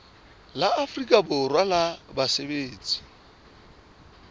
la afrika borwa la basebetsi